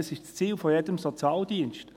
dies ist das Ziel eines jeden Sozialdienstes.